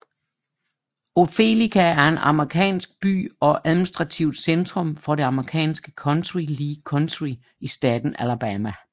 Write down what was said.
Opelika er en amerikansk by og administrativt centrum for det amerikanske county Lee County i staten Alabama